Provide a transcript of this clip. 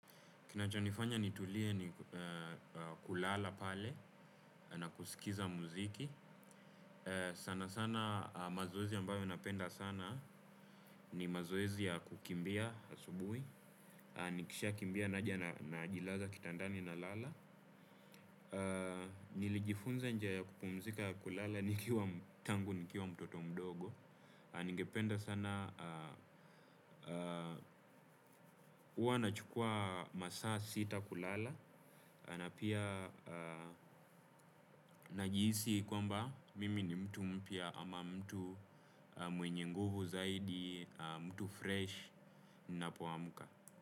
Kinachonifanya nitulie ni kulala pale na kuskiza muziki sana sana mazoezi ambayo napenda sana ni mazoezi ya kukimbia asubui. Nikisha kimbia naja najilaza kitandani na lala. Nilijifunza njia ya kupumzika ya kulala nikiwa tangu nikiwa mtoto mdogo. Ningependa sana, uwa na chukua masaa sita kulala, na pia najiisi kwamba mimi ni mtu mpya ama mtu mwenye nguvu zaidi, mtu fresh n poamuka.